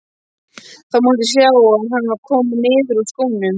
Það mátti sjá að hann var kominn niður úr skónum.